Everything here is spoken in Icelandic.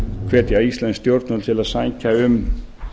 hvetja íslensk stjórnvöld til að sækja um